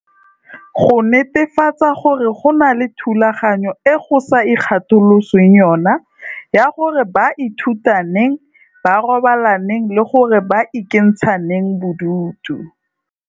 Go netefatsa gore go na le thulaganyo e go sa ikga tolosweng yona ya gore ba ithuta neng, ba robala neng le gore ba ikentsha neng bodutu.